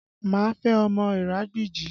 Má fẹ́ ọmọ Iragbiji!